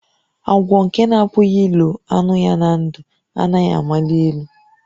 Agwọ nke na-apụghị ilo anụ ya na ndụ, anaghị amali elu